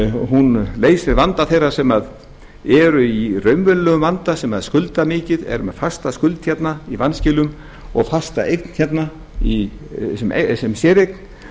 hún leysir vanda þeirra sem eru í raunverulegum vanda sem skulda mikið eru með fasta skuld í vanskilum og fasta eign sem séreign